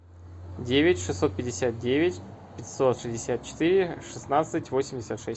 девять шестьсот пятьдесят девять пятьсот шестьдесят четыре шестнадцать восемьдесят шесть